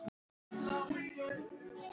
Það sæmdi ekki reisn þinni.